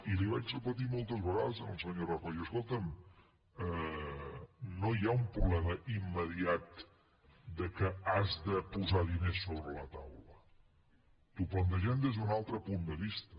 i li ho vaig repetir moltes vegades al senyor rajoy escolta’m no hi ha un problema immediat que hagis de posar diners sobre la taula t’ho plantegem des d’un altre punt de vista